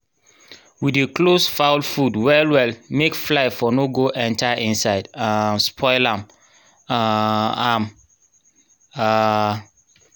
we dey close fowl food well well make fly for no go enter inside um spoil am um am um